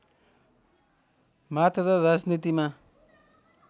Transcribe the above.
मात्र राजनीतिमा